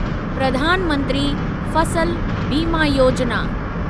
प्रधान मंत्री फसल बीमा योजिना